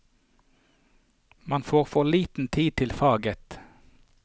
Man får for liten tid til faget.